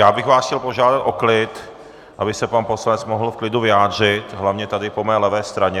Já bych vás chtěl požádat o klid, aby se pan poslanec mohl v klidu vyjádřit, hlavně tady po mé levé straně.